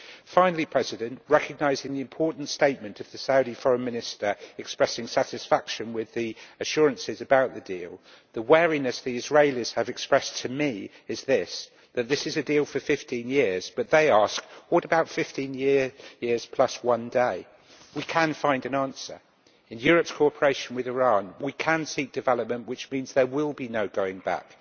Finally, recognising the important statement of the Saudi foreign minister expressing satisfaction with the assurances about the deal, the wariness the Israelis have expressed to me is this that this is a deal for 15 years, but, they ask, what about 15 years and one day? We can find an answer. In Europe's cooperation with Iran we can seek development, which means there will be no going back.